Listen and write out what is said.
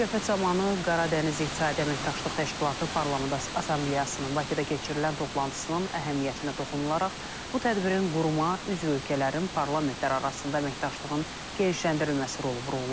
Söhbət zamanı Qaradəniz İqtisadi Əməkdaşlıq Təşkilatı Parlament Assambleyasının Bakıda keçirilən toplantısının əhəmiyyətinə toxunularaq, bu tədbirin quruma üzv ölkələrin parlamentlər arasında əməkdaşlığın genişləndirilməsi rolu vurğulanıb.